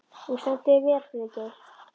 Þú stendur þig vel, Friðgeir!